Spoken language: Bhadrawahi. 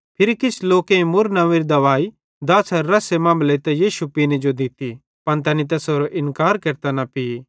फिरी किछ लोकेईं मुर्र नंव्वेरी दवाई दाछ़ारे रस्से मां मिलेइतां यीशु पीने जो दित्ती पन तैनी तैसेरो इन्कार केरतां न पी